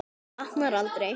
Honum batnar aldrei.